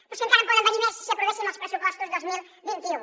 però és que encara en podrien venir més si aprovéssim els pressupostos dos mil vint u